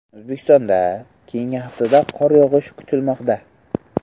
O‘zbekistonda keyingi haftada qor yog‘ishi kutilmoqda.